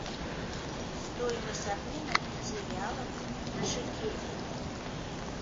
стоимость обмена пяти реалов на шекели